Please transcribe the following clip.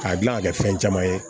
K'a dilan ka kɛ fɛn caman ye